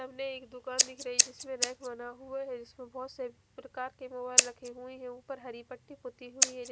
सामने एक दुकान दिख रही है जिसमे रेक बना हुआ है जिसमे बहोत से प्रकार के मोबाइल रखे हुए है उपर हरी पटी पुती हुई है जी--